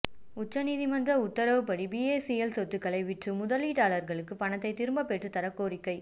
உச்சநீதிமன்ற உத்தரவுப்படி பிஏசிஎல் சொத்துக்களை விற்று முதலீட்டாளர்களுக்கு பணத்தை திரும்ப பெற்றுத் தர கோரிக்கை